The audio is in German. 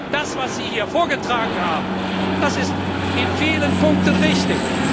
Das, was Sie hier vorgetragen haben, das ist in vielen Punkten richtig.